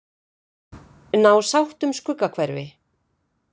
Ná sátt um Skuggahverfi